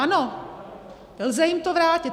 Ano, lze jim to vrátit.